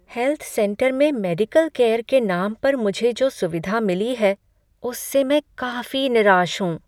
Health centre में medical care के नाम पर मुझे जो सुविधा मिली है, उससे मैं काफी निराश हूँ।